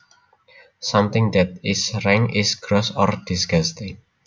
Something that is rank is gross or disgusting